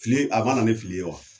Fili a ma na nI fili ye wa?